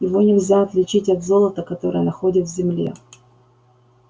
его нельзя отличить от золота которое находят в земле